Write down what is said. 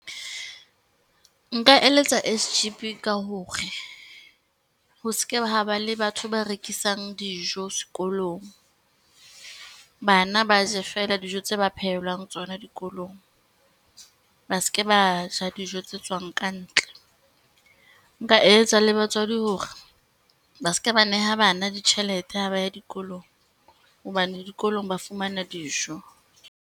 Nka eletsa S_G_B ka hore, ho seke ha ba le batho ba rekisang dijo sekolong. Bana ba je fela dijo tse ba phehelwang tsona dikolong, ba seke ba ja dijo tse tswang ka ntle. Nka eletsa le batswadi hore, ba seke ba neha bana ditjhelete ha ba ya dikolong, hobane dikolong ba fumana dijo.